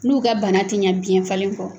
N'u ka bana tɛ ɲɛ biɲɛ falen kɔ.